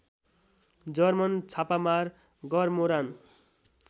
German छापामार गरमोरान